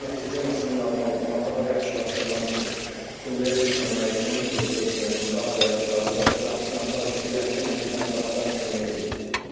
Nəticəm əslində normaldır, amma daha yaxşılaşdırmaq üçün pulluya düşməmək üçün, pulsuza düşmək üçün daha da yaxşı hazırlayıram, sınaqlar işləyirəm ki, nəticəmi daha da mükəmməl eləyim.